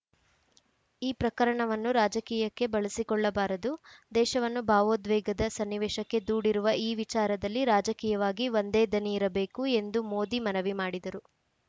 ಈ ಪ್ರಕರಣವನ್ನು ರಾಜಕೀಯಕ್ಕೆ ಬಳಸಿಕೊಳ್ಳಬಾರದು ದೇಶವನ್ನು ಭಾವೋದ್ವೇಗದ ಸನ್ನಿವೇಶಕ್ಕೆ ದೂಡಿರುವ ಈ ವಿಚಾರದಲ್ಲಿ ರಾಜಕೀಯವಾಗಿ ಒಂದೇ ದನಿ ಇರಬೇಕು ಎಂದು ಮೋದಿ ಮನವಿ ಮಾಡಿದರು